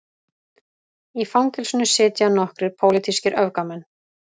Í fangelsinu sitja nokkrir pólitískir öfgamenn